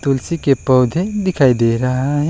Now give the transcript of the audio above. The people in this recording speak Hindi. तुलसी के पौधे दिखाई दे रहा है।